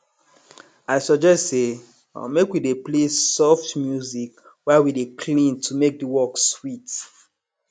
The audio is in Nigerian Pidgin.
i suggest say make we dey play soft music while we dey clean to make the work sweet